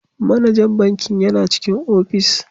Manajan bankin yana cikin ofis.